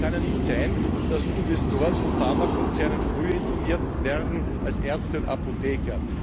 Es kann ja nicht sein, dass Investoren von Pharmakonzernen früher informiert werden als Ärzte und Apotheker.